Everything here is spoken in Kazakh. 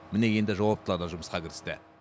міне енді жауаптылар да жұмысқа кірісті